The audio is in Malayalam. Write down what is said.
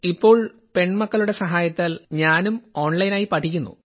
ഇപ്പോൾ പെൺമക്കളുടെ സഹായത്താൽ ഞാനും ഓൺലൈനായി പഠിക്കുന്നു